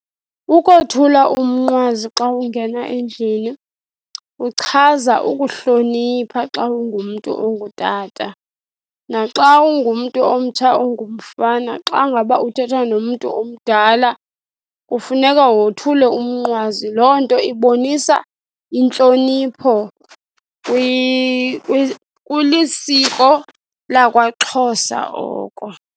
Ukothula umnqwazi xa ungena endlini kuchaza ukuhlonipha xa ungumntu ongutata. Naxa ungumntu omtsha ongumfana xa ngaba uthetha nomntu omdala, kufuneka wothule umnqwazi. Loo nto ibonisa intlonipho, kulisiko lakwaXhosa oko.